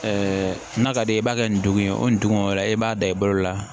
n'a ka d'i ye i b'a kɛ nin dugu ye o nin dugu la e b'a da i bolo la